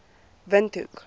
windhoek